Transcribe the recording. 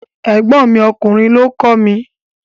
Ẹ̀gbọ́n mi ọkùnrin lọ kọ́ mi.